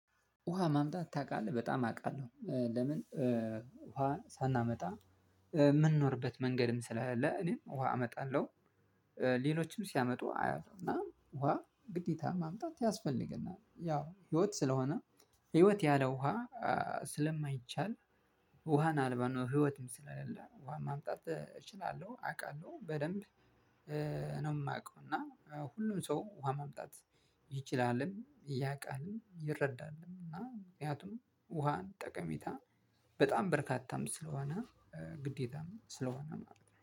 ውሃ ማምጣት ታውቃለህ? በጣም አውቃለሁ። ለምን ውሃ ሳናመጣ የምንኖርበት መንገድም ስለሌለ እኔ ውሃ አመጣለሁ። ሌሎችም ሲያመጡ አያለውና ውሃ ግዴታ ማምጣት ያስፈልግናል። ያው ህይወት ስለሆነ ህይወት ያለ ውሃ ስለማይቻል ውሃን አልባ ነው ህይወትም ስለሌለ ውሃ ማምጣት እችላለሁ፣ አውቃለሁ፣ በደንብ ነው የማውቀው እና ሁሉም ሰው ውሃ መምጣት ይችላልም፣ ያውቃልም፣ ይረዳልም እና ምክንያቱም ውሃን ጠቀሜታ በጣም በርካታም ስለሆነ ግዴታም ስለሆነ ማለት ነው።